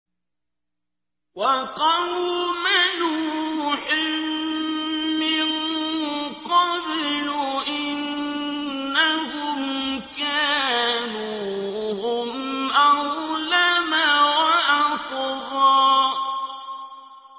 وَقَوْمَ نُوحٍ مِّن قَبْلُ ۖ إِنَّهُمْ كَانُوا هُمْ أَظْلَمَ وَأَطْغَىٰ